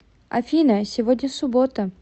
афина сегодня суббота